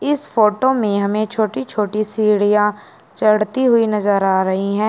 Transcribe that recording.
इस फोटो में हमें छोटी छोटी सीढ़ियां चढ़ती हुई नजर आ रही है।